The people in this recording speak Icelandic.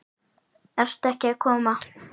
Ert ekki að koma?